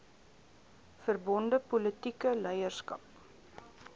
verbonde politieke leierskap